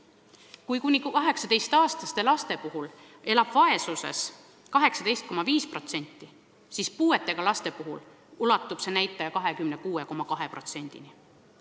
Kui kuni 18-aastastest lastest elab vaesuses 18,5%, siis puuetega laste puhul ulatub see näitaja 26,2%-ni.